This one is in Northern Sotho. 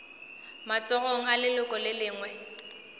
matsogong a leloko le lengwe